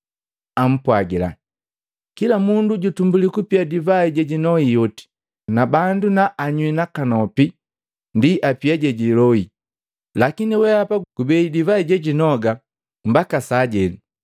ampwagila, “Kila mundu jutumbuli kupia divai jejinoi oti, na bandu naanywii nakanopi ndi apia jejinyolwi. Lakini wehapa gubei divai jejinoga mbaka sajenu!”